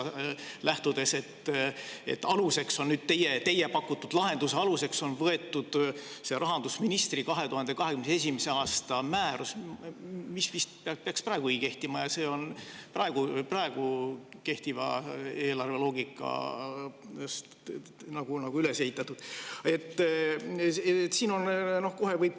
Just lähtudes sellest, et teie pakutud lahenduse aluseks on võetud rahandusministri 2021. aasta määrus, mis peaks vist praegugi kehtima ja on üles ehitatud praegu kehtiva eelarveloogika põhjal.